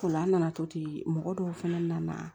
Ola an nana to ten mɔgɔ dɔw fɛnɛ nana